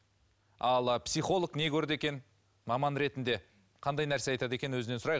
ал психолог не көрді екен маман ретінде қандай нәрсе айтады екен өзінен сұрайық